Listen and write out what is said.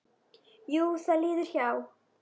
Jú, það líður hjá.